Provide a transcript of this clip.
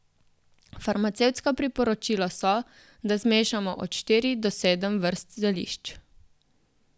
Farmacevtska priporočila so, da zmešamo od štiri do sedem vrst zelišč.